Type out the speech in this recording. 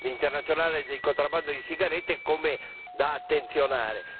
internazionale di contrabbando di sigarette, come da attenzionare.